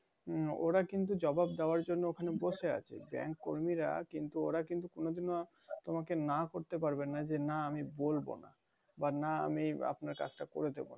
ওরা কিন্তু জবাব দেয়ার জন্য ওখানে বসে আছে। কর্মীরা ওরা কিন্তু কখনো তোমাকে না করতে পারবে না যে না আমি বলবো না। বানা আমি আপনার কাজটা করে দেবো না।